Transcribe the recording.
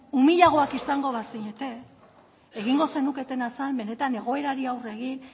umilagoak izango bazinete egingo zenuketena zen benetan egoerari aurre egin